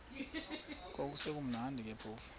kwakusekumnandi ke phofu